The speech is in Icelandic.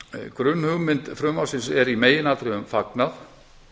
grunnhugmynd frumvarpsins er í meginatriðum fagnað